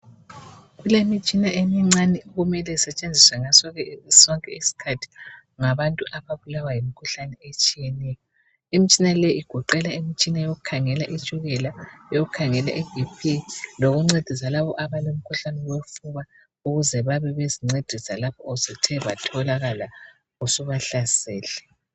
Kulemitshina emincane okumele isetshenziswe ngaso sonke isikhathi ngabantu ababulawa yimikhuhlane etshiyeneyo . Imitshina leyi igoqela imitshina yokukhangela itshukela ,yokukhangela iBP lokuncedisa labo abalomkhuhlane wofuba ukuze babe bezincedisa lapho usuthe batholakala usubahlasele.